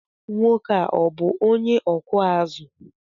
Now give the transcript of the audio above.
Nwoke a ọ bú onye ọkụ azụ?